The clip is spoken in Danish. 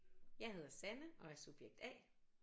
Jeg hedder Sanne og er subjekt A